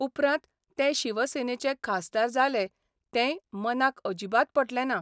उपरांत ते शिवसेनेचे खासदार जाले तेंय मनाक अजिबात पटलें ना.